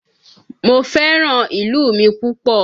Mo fẹ́ràn ìlú mi púpọ̀